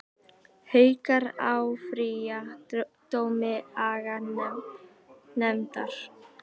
Haukar áfrýja dómi aganefndar